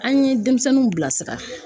An ye denmisɛnninw bilasira